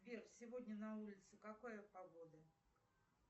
сбер сегодня на улице какая погода